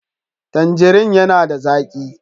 Tandirin yana da zaƙi